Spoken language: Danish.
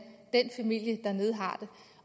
den familie dernede har det